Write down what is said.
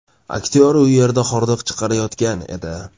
Aktyor u yerda hordiq chiqarayotgan edi.